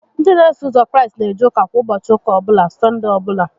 Ndị n'eso ụzọ Kraịst n'eje ụka kwa ụbọchị ụka ọbụla (Sọndee ọbụla)